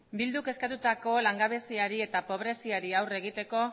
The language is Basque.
bilduk eskatutako langabeziari eta pobreziari aurre egiteko